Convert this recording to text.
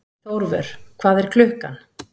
Þórvör, hvað er klukkan?